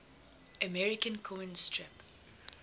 american comic strip